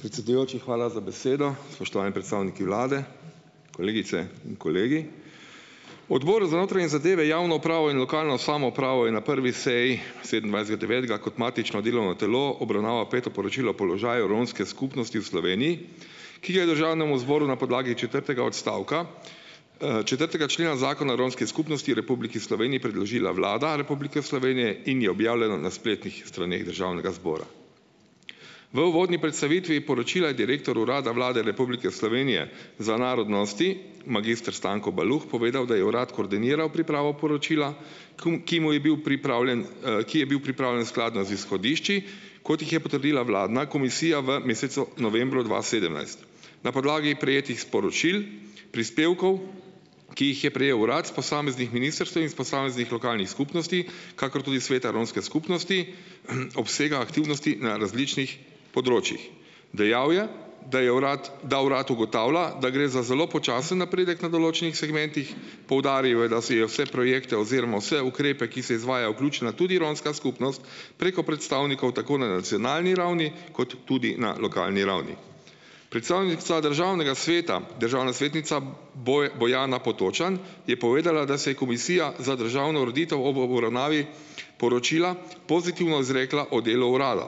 Predsedujoči, hvala za besedo. Spoštovani predstavniki vlade, kolegice in kolegi! Odbor za notranje zadeve, javno upravo in lokalno samoupravo je na prvi seji sedemindvajsetega devetega kot matično delovno telo obravnava peto poročilo o položaju romske skupnosti v Sloveniji, ki ga je državnemu zboru na podlagi četrtega odstavka, četrtega člena Zakona romski skupnosti Republiki Sloveniji predložila Vlada Republike Slovenije in je objavljeno na spletnih straneh državnega zbora. V uvodni predstavitvi poročila je direktor Urada Vlade Republike Slovenije za narodnosti magister Stanko Baluh povedal, da je urad koordiniral pripravo poročila, km ki mu je bil pripravljen, ki je bil pripravljen skladno z izhodišči, kot jih je potrdila vladna komisija v mesecu novembru dva sedemnajst. Na podlagi prejetih sporočil, prispevkov, ki jih je prejel urad s posameznih ministrstev in s posameznih lokalnih skupnosti, kakor tudi sveta romske skupnosti, obsega aktivnosti na različnih področjih. Dejal je, da je urad da urad ugotavlja, da gre za zelo počasen napredek na določenih segmentih. Poudaril je, da si je vse projekte oziroma vse ukrepe, ki se izvajajo, vključena tudi romska skupnost preko predstavnikov tako na nacionalni ravni kot tudi na lokalni ravni. Predstavnica državnega sveta, državna svetnica Bojana Potočan, je povedala, da se je komisija za državno ureditev ob obravnavi poročila pozitivno izrekla o delu urada.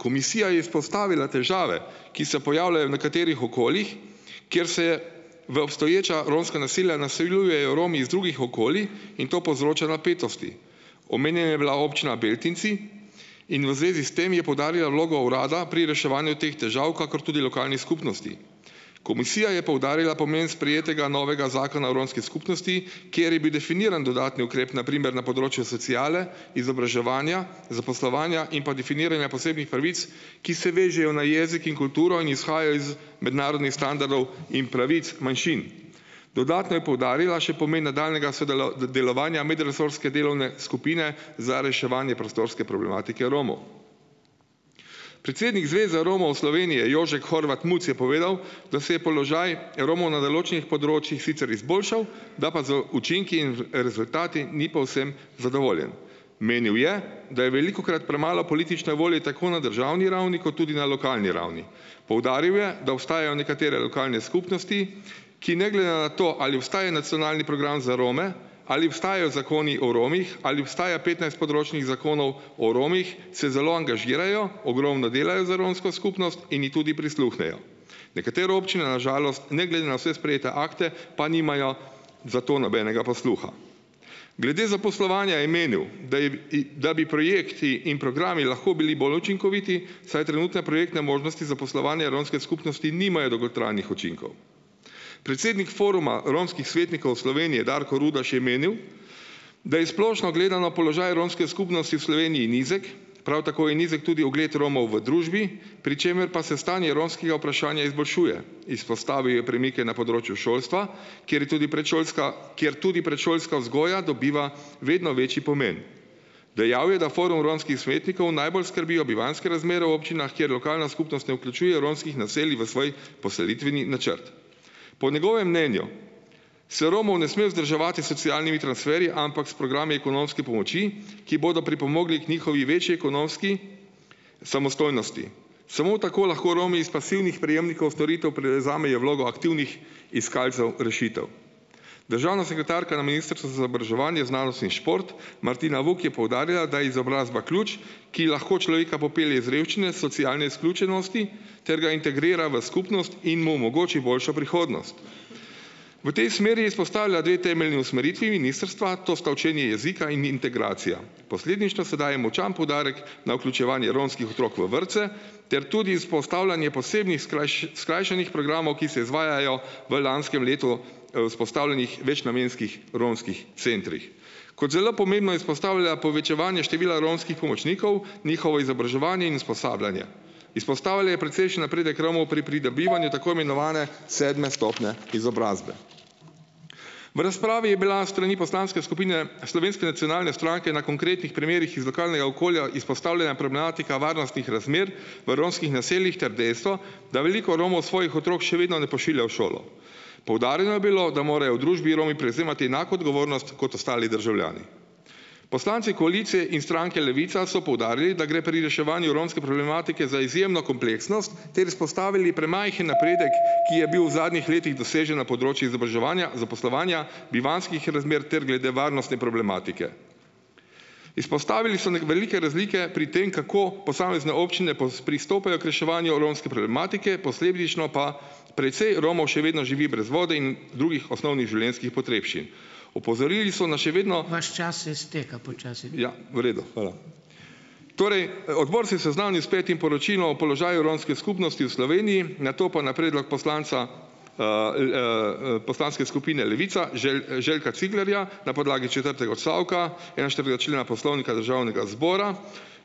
Komisija je izpostavila težave, ki se pojavljajo nekaterih okoljih, kjer se je v obstoječa romska naselja naseljujejo Romi iz drugih okolij in to povzroča napetosti. Omenjen je bila občina Beltinci in v zvezi s tem je poudarila vlogo urada pri reševanju teh težav, kakor tudi lokalnih skupnosti. Komisija je poudarila pomen sprejetega novega zakona o romski skupnosti, kjer je bil definiran dodatni ukrep, na primer, na področju sociale, izobraževanja, zaposlovanja in pa definiranja posebnih pravic, ki se vežejo na jezik in kulturo in izhajajo iz mednarodnih standardov in pravic manjšin. Dodatno je poudarila še pomen nadaljnjega delovanja medresorske delovne skupine za reševanje prostorske problematike Romov. Predsednik Zveze Slovenije Romov, Jožek Horvat Muc je povedal, da se je položaj Romov na določenih področjih sicer izboljšal, da pa z učinki in rezultati ni povsem zadovoljen. Menil je, da je velikokrat premalo politične volje tako na državni ravni kot tudi na lokalni ravni. Poudaril je, da obstajajo nekatere lokalne skupnosti, ki ne glede na to, ali obstaja nacionalni program za Rome, ali obstajajo zakoni o Romih, ali obstaja petnajst področnih zakonov o Romih, se zelo angažirajo, ogromno delajo za romsko skupnost in ji tudi prisluhnejo. Nekatere občine na žalost, ne glede na vse sprejete akte, pa nimajo za to nobenega posluha. Glede zaposlovanja je menil, da je da bi projekti in programi lahko bili bolj učinkoviti, saj trenutne projektne možnosti zaposlovanja romske skupnosti nimajo dolgotrajnih učinkov. Predsednik Foruma romskih svetnikov Slovenije Darko Rudaš je menil, da je splošno gledano položaj romske skupnosti v Sloveniji nizek, prav tako je nizek tudi ugled Romov v družbi, pri čemer pa se stanje romskega vprašanja izboljšuje. Izpostavil je premike na področju šolstva, kjer je tudi predšolska, kjer tudi predšolska vzgoja dobiva vedno večji pomen. Dejal je, da Forum romskih svetnikov najbolj skrbijo bivanjske razmere v občinah, kjer lokalna skupnost ne vključuje romskih naselij v svoj postavitveni načrt. Po njegovem mnenju se Romov ne sme vzdrževati s socialnimi transferji, ampak s programi ekonomske pomoči, ki bodo pripomogli k njihovi večji ekonomski samostojnosti. Samo tako lahko Romi iz pasivnih prejemnikov storitev prevzamejo vlogo aktivnih iskalcev rešitev. Državna sekretarka na Ministrstvu za izobraževanje, znanost in šport Martina Vuk je poudarila, da je izobrazba ključ, ki lahko človeka popelje iz revščine, socialne izključenosti ter ga integrira v skupnost in mu omogoči boljšo prihodnost. V tej smeri je izpostavila dve temeljni usmeritvi ministrstva, to sta učenje jezika in integracija. Posredništvo sedaj je močan poudarek na vključevanje romskih otrok v vrtce ter tudi izpostavljanje posebnih skrajšanih programov, ki se izvajajo v, lanskem letu vzpostavljenih, večnamenskih romskih centrih. Kot zelo pomembno izpostavlja povečevanje števila romskih pomočnikov, njihovo izobraževanje in usposabljanje. Izpostavila je precejšen napredek Romov pri pridobivanju tako imenovane sedme stopnje izobrazbe. V razpravi je bila strani poslanske skupine Slovenske nacionalne stranke na konkretnih primerih iz lokalnega okolja izpostavljena problematika varnostnih razmer v romskih naseljih ter dejstvo, da veliko Romov svojih otrok še vedno ne pošilja v šolo. Poudarjeno je bilo, da morajo v družbi Romi prevzemati enako odgovornost kot ostali državljani. Poslanci koalicije in stranke Levica so poudarili, da gre pri reševanju romske problematike za izjemno kompleksnost ter izpostavili premajhen napredek, ki je bil v zadnjih letih dosežen na področju izobraževanja, zaposlovanja, bivanjskih razmer ter glede varnostne problematike. Izpostavili so velike razlike pri tem, kako posamezne občine pristopajo k reševanju romske problematike, posledično pa precej Romov še vedno živi brez vode in drugih osnovnih življenjskih potrebščin. Opozorili so nas še vedno. Ja, v redu. Hvala. Torej, odbor se je seznanil s petim poročilom položaju romske skupnosti v Sloveniji, nato pa na predlog poslanca poslanske skupine Levica Želka Ciglerja, na podlagi četrtega odstavka enainštiridesetega člena Poslovnika Državnega zbora,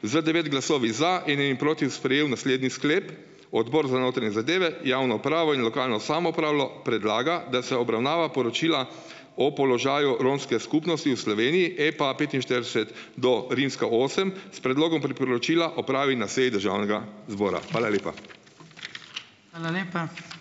z devet glasovi za in eni proti sprejel naslednji sklep. Odbor za notranje zadeve, javno upravo in lokalno samoupravo predlagam, da se obravnava poročila o položaju romske skupnosti in Sloveniji, EPA petinštirideset do rimska osem, s predlogom priporočila opravi na seji državnega zbora. Hvala lepa.